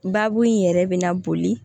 Baabu in yɛrɛ bɛ na boli